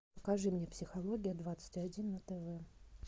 покажи мне психология двадцать один на тв